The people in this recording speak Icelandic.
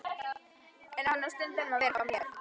En hann á stundum að vera hjá mér.